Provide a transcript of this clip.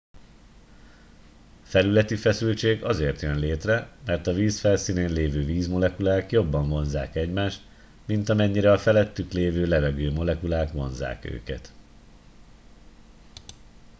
felületi feszültség azért jön létre mert a víz felszínén lévő vízmolekulák jobban vonzzák egymást mint amennyire a felettük lévő levegőmolekulák vonzzák őket